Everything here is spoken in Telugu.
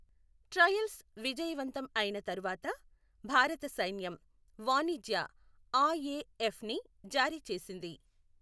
ట్రయల్స్ విజయవంతం అయిన తర్వాత భారత సైన్యం వాణిజ్య ఆఎఫ్పిని జారీ చేస్తుంది